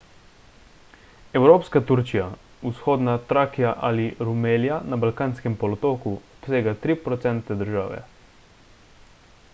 evropska turčija vzhodna trakija ali rumelija na balkanskem polotoku obsega 3 % države